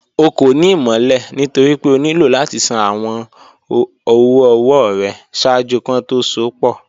Ọ̀ kọ́ ní ìmọ̀lẹ̀ nítorí pé ọ̀ nílò láti ṣàn awọn ọ̀wọ̀-ọwọ̀ rẹ̀ ṣáàjú kí wọn tó sọ̀ pọ̀